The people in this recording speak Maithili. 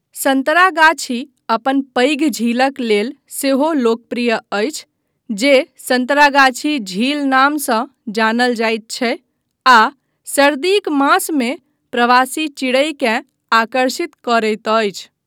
सन्तरागाछी अपन पैघ झीलक लेल सेहो लोकप्रिय अछि जे सन्तरागाछी झील नामसँ जानल जाइत छै आ सर्दीक मासमे प्रवासी चिड़ैकेँ आकर्षित करैत अछि।